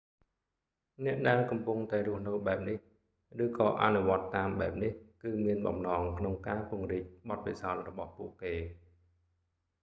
អ្នកដែលកំពុងតែរស់នៅបែបនេះ ឬក៏អនុវត្តន៍តាមបែបនេះគឺមានបំណងក្នុងការពង្រីកបទពិសោធន៍របស់ពួកគេ